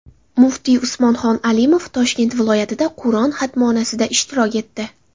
Muftiy Usmonxon Alimov Toshkent viloyatida Qur’on xatmonasida ishtirok etdi.